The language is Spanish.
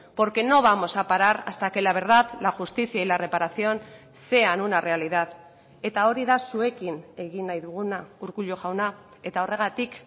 porque no vamos a parar hasta que la verdad la justicia y la reparación sean una realidad eta hori da zuekin egin nahi duguna urkullu jauna eta horregatik